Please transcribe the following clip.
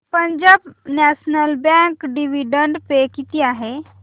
Punjab National Bank dividend pay किती आहे